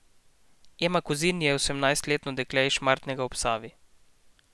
Ema Kozin je osemnajstletno dekle iz Šmartnega ob Savi.